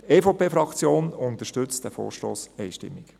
Die EVP-Fraktion unterstützt diesen Vorstoss einstimmig.